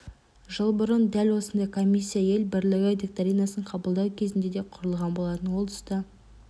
жыл бұрын дәл осындай комиссия ел бірлігі доктринасын қабылдау кезінде де құрылған болатын ол тұста